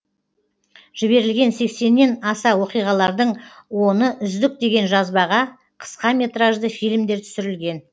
жіберілген сексеннен аса оқиғалардың оны үздік деген жазбаға қысқа метражды фильмдер түсірілген